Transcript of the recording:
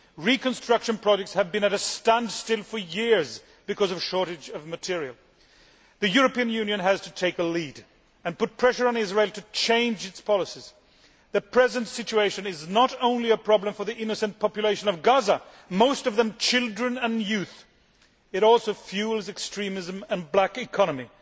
Reconstruction projects have been at a standstill for years because of a shortage of material. The European Union has to take a lead and put pressure on Israel to change its policies. The present situation is not only a problem for the innocent population of Gaza most of them children and young people it also fuels extremism and the black economy.